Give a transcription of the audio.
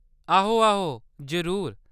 आहो आहो, जरूर।